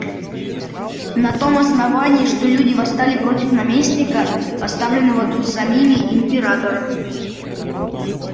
на том основании что люди восстали против наместника поставленного тут самими императором